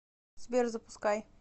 сбер запускай